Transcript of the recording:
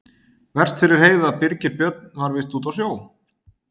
Verst fyrir Heiðu að Birgir Björn var víst úti á sjó.